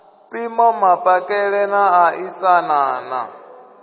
mpimo mapakele na ṋaṋisana na